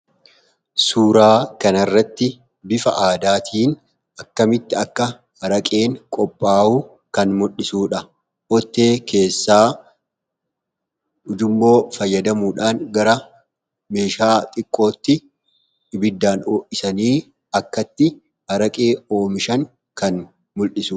suuraa kanarratti bifa aadaatiin akkamitti akka araqeen qophaawuu kan muldhisuudha. ottee keessaa ujumoo fayyadamuudhaan gara meeshaa xiqqootti ibiddaan ho’isanii akkatti araqee oomishan kan muldhisu